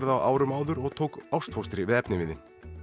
á árum áður og tók ástfóstri við efniviðinn